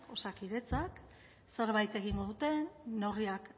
osakidetzak zerbait egingo duten neurriak